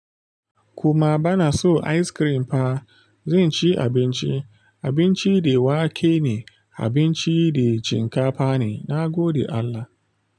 Kuma bana so ice cream fa. Zan ci abinci, abinci da wake ne, abinci da shinkafa ne, na gode Allah.